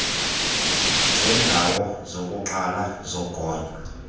zeendawo zokuqala zogonyo